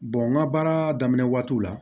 n ka baara daminɛ waatiw la